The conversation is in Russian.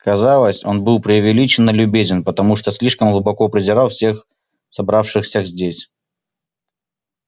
казалось он был преувеличенно любезен потому что слишком глубоко презирал всех собравшихся здесь